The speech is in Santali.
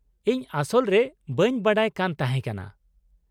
ᱤᱧ ᱟᱥᱚᱞ ᱨᱮ ᱵᱟ.ᱧ ᱵᱟᱰᱟᱭ ᱠᱟᱱ ᱛᱟᱦᱮᱸ ᱠᱟᱱᱟ ᱾